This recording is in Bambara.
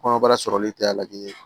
Kɔnɔbara sɔrɔli tɛ a lajɛ